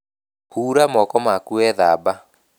Hura moko maku wethamba